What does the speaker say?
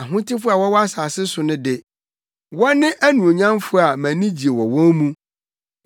Ahotefo a wɔwɔ asase no so de, wɔne anuonyamfo a mʼanigye wɔ wɔn mu.